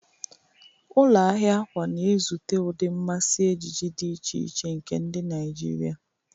Ụlọ ahịa akwa na-ezute ụdị mmasị ejiji dị iche iche nke ndị Naijiria.